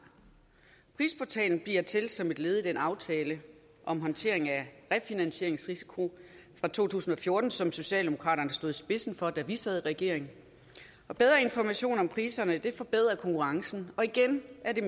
prisportalen bliver til som et led i den aftale om håndtering af refinansieringsrisiko fra to tusind og fjorten som socialdemokraterne stod i spidsen for da vi sad i regering og bedre information om priserne forbedrer konkurrencen og igen er det